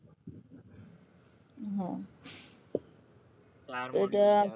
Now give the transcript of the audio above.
હ